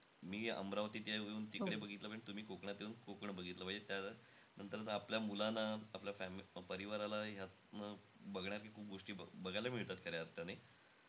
मी अमरावतीच्या येऊन तिकडे येऊन तिकडे बघितलं पाहिजे आणि तुम्ही कोकणात येऊन कोकण बघितलं पाहिजे. त्यानंतर आपल्या मुलांना, आपल्या फॅ परिवाराला ह्यातनं बघण्याच्या खूप गोष्टी, बघायला मिळतात खऱ्या अर्थाने.